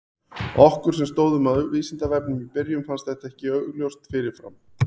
Okkur sem stóðum að Vísindavefnum í byrjun fannst þetta ekki augljóst fyrir fram.